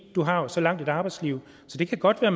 du har jo så langt et arbejdsliv så det kan godt være